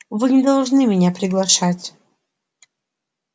вы не должны меня приглашать